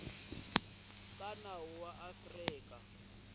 ka nawu ya afrika dzonga